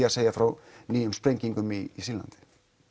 að segja frá nýjum sprengingum í Sýrlandi